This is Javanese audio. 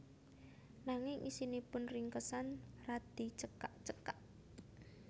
Nanging isinipun ringkesan radi cekak cekak